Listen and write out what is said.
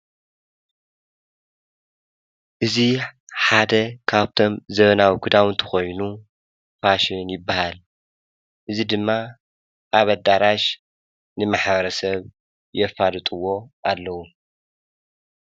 እዚ ሓደ ካብቶም ዘመናዊ ክዳውንቲ ኮይኑ ፋሽን ይበሃል። እዚ ድማ ኣብ ኣዳራሽ ንማሕበረሰብ የፋልጥዎ ኣለዉ።